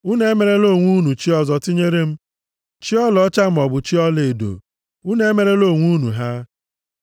Unu emerela onwe unu chi ọzọ tinyere m, chi ọlaọcha maọbụ chi ọlaedo. Unu emerela onwe unu ha.